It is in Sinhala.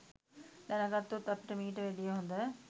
දැනගත්තොත් අපිට මීට වැඩිය හොඳ